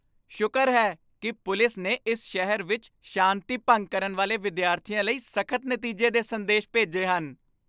ਸ਼ੁਕਰ ਹੈ ਕਿ ਪੁਲਿਸ ਨੇ ਇਸ ਸ਼ਹਿਰ ਵਿੱਚ ਸ਼ਾਂਤੀ ਭੰਗ ਕਰਨ ਵਾਲੇ ਵਿਦਿਆਰਥੀਆਂ ਲਈ ਸਖ਼ਤ ਨਤੀਜੇ ਦੇ ਸੰਦੇਸ਼ ਭੇਜੇ ਹਨ।